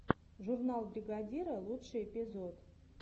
журнал бригадира лучший эпизод